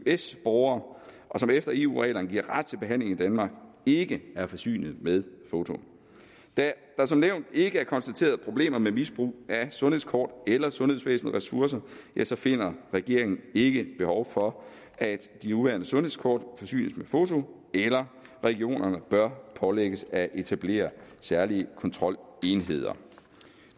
eøs borgere og som efter eu reglerne giver ret til behandling i danmark ikke er forsynet med foto da der som nævnt ikke er konstateret problemer med misbrug af sundhedskort eller sundhedsvæsenets ressourcer ja så finder regeringen ikke behov for at de nuværende sundhedskort forsynes med foto eller at regionerne bør pålægges at etablere særlige kontrolenheder